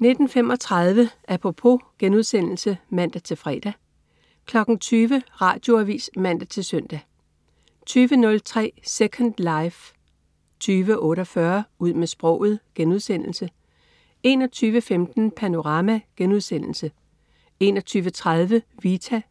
19.35 Apropos* (man-fre) 20.00 Radioavis (man-søn) 20.03 Second life 20.48 Ud med sproget* 21.15 Panorama* 21.30 Vita*